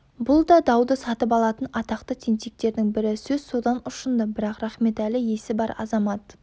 бұл да дауды сатып алатын атақты тентектердің бірі сөз содан ұшынды бірақ рахметәлі есі бар азамат